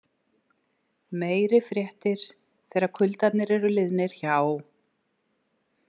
Meiri fréttir þegar kuldarnir eru liðnir hjá.